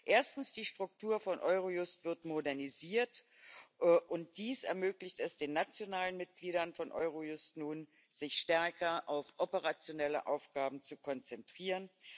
Erstens wird die Struktur von Eurojust modernisiert, und dies ermöglicht es den nationalen Mitgliedern von Eurojust nun, sich stärker auf operationelle Aufgaben zu konzentrieren.